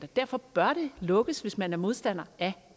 derfor bør det lukkes hvis man er modstander af